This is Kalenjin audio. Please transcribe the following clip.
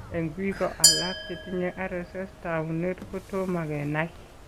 Eng' biko alak chetinye RSS , taunet ko tomo kenai .